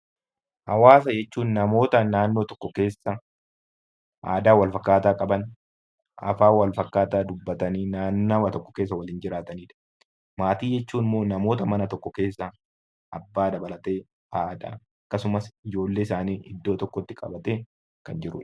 Hawaasa jechuun namoota naannoo tokko keessa jiraatanii aadaa wal fakkaataa qaban, afaan wal fakkaataa dubbatan naannawaa tokko keessa waliin jiraatanidha. Maatii jechuun immoo namoota mana tokko keessa waliin abbaa dabalatee akkasuma haadha ijoollee isaanii akkasuma iddoo tokkotti qabatee kan jirudha